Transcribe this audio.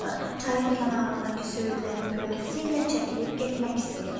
Çayın kənarındakı söyüdlərin kölgəsi ilə çəkilib getmək istəyirdi.